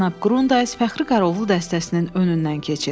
Cənab Qrundays Fəxri qaraovlu dəstəsinin önündən keçir.